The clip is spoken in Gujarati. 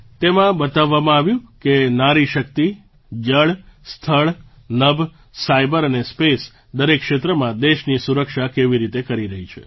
તેમાં દેખાડવામાં આવ્યું કે નારીશક્તિ જળ સ્થળ નભ સાઇબર અને સ્પેસ દરેક ક્ષેત્રમાં દેશની સુરક્ષા કેવી રીતે કરી રહી છે